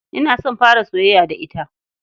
Ina son fara soyayya da ita.